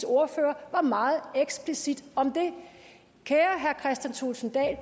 ordfører var meget eksplicit om det kære herre kristian thulesen dahl